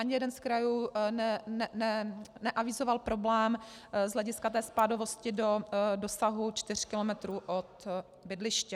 Ani jeden z krajů neavizoval problém z hlediska té spádovosti do dosahu 4 km od bydliště.